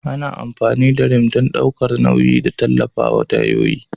Ana amfani da Rim don ɗaukar nauyi da tallafawa tayoyin.